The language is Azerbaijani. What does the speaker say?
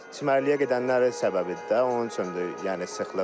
Çimərliyə gedənlərin səbəbidir də, onun üçündür yəni sıxlıq.